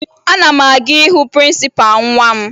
Ana m aga ịhụ prịnsịpaa nwa m